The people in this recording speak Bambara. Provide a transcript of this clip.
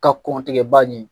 Ka kɔn tigɛba ɲɛ